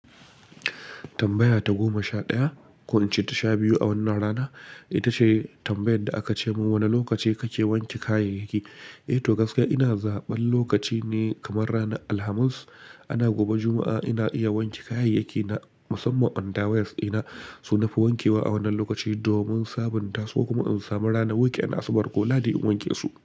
Tambaya ta goma sha ɗaya, ko in ce ta sha biyu a wannan rana. Ita ce tambayan da aka ce min wane lokaci kake wanke kayayyaki? Eh to gaskiya ina zaɓan lokaci ne kamar ranar Alhamis ana gobe Juma'a ina iya wanke kayayyaki na musamman undawears ina su nafi wankewa a wannan lokaci domin sabonta su kuma in samu ranar wuke asabar ko ladadi in wanke su.